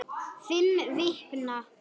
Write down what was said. Fimm vikna